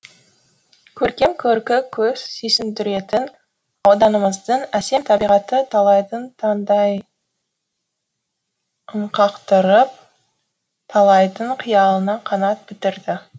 көркем көркі көз сүйсіндіретін ауданымыздың әсем табиғаты талайдың таңдайынқақтырып талайдың қиялына қанат бітірді